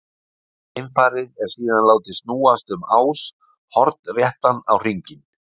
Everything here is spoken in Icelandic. Geimfarið er síðan látið snúast um ás hornréttan á hringinn.